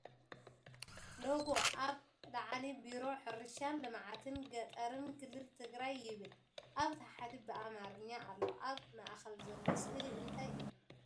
ሎጎ ኣብ ላዕሊ ቢሮ ሕርሻን ልምዓትን ገጠርን ክልልትግራይ ይብል ኣብ ታሕቲ ብኣምሓረኛ ኣሎ ኣብ ማእከል ዘሎ ስእሊ እንታይ እዩ ?